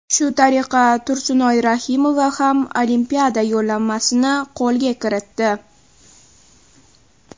Shu tariqa Tursunoy Rahimova ham Olimpiada yo‘llanmasini qo‘lga kiritdi.